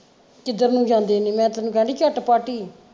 ਕਿੱਧਰ ਨੂੰ ਜਾਂਦੇ ਨੇ ਮੈਂ ਤੈਨੂੰ ਕਹਿਣ ਦੀ ਝੱਟ ਪੱਟ ਹੀ।